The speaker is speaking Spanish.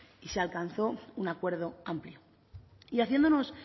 y se alcanzó un acuerdo amplio y haciéndonos